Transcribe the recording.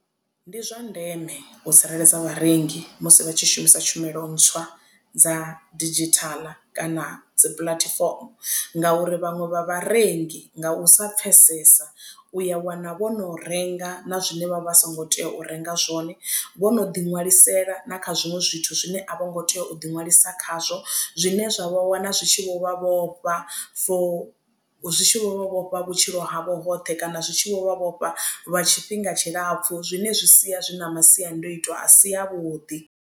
Ndi zwa ndeme u tsireledza vharengi musi vha tshi shumisa tshumelo ntswa dza didzhithala kana dzi puḽatifomo ngauri vhaṅwe vha vharengi nga u sa pfesesa u ya wana vho no renga na zwine vha vha songo tea u renga zwone vho no ḓiṋwalisela na kha zwiṅwe zwithu zwine a vho ngo tea u ḓiṅwalisa khazwo zwine zwa vha wana zwi tshi vho vha vhofha for zwitshi vho vhofha vhutshilo havho hoṱhe kana zwitshi vho vha vhofha lwa tshifhinga tshilapfu zwine zwi sia zwi na masiandoitwa a si avhuḓi.